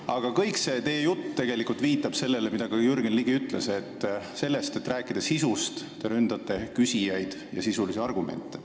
Aga kogu see teie jutt viitab sellele, mida ka Jürgen Ligi ütles: selle asemel, et rääkida sisust, te ründate küsijaid ja sisulisi argumente.